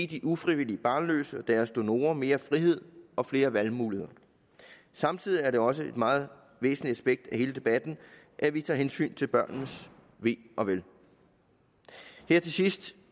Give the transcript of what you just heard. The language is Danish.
de ufrivilligt barnløse og deres donorer mere frihed og flere valgmuligheder samtidig er det også et meget væsentligt aspekt i hele debatten at vi tager hensyn til børnenes ve og vel her til sidst